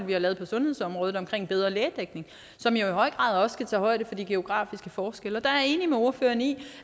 vi har lavet på sundhedsområdet om bedre lægedækning som i høj grad også skal tage højde for de geografiske forskelle der er jeg enig med ordføreren i